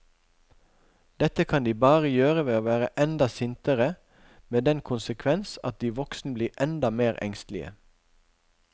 Dette kan de bare gjøre ved å være enda sintere, med den konsekvens at de voksne blir enda mer engstelige.